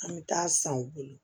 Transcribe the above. An bɛ taa san u bolo